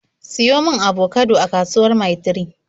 Siyo mun abokado a kasuwar Mil 3!